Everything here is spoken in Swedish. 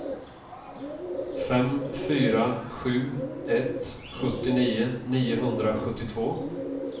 fem fyra sju ett sjuttionio niohundrasjuttiotvå